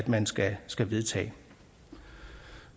man skal skal vedtage